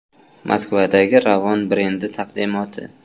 Moskvadagi Ravon brendi taqdimoti .